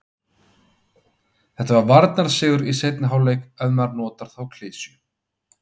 Þetta var varnarsigur í seinni hálfleik ef maður notar þá klisju.